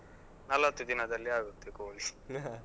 ನಲ್ವತ್ತು ದಿನದಲ್ಲಿ ಆಗುತ್ತೆ ಕೋಳಿ .